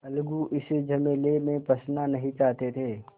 अलगू इस झमेले में फँसना नहीं चाहते थे